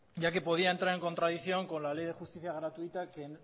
ya que podía entrar en contradicción con la ley de justicia gratuita que